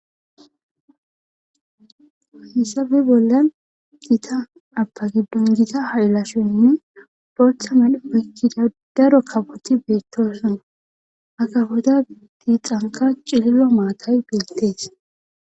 Hessafe bolla dita apa giddon gita ha'ilashonne boltha medho pekkida daro kaboti beettoosona akahoda diixanka cililo maatay beetteti.